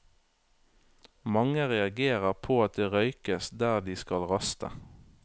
Mange reagerer på at det røykes der de skal raste.